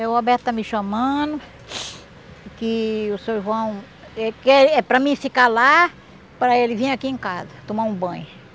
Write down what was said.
O Alberto está me chamando, que o seu João, eh que é para mim ficar lá, para ele vir aqui em casa, tomar um banho.